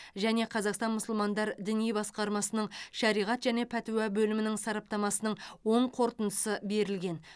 және қазақстан мұсылмандар діни басқармасының шариғат және пәтуа бөлімінің сараптамасының оң қорытындысы берілген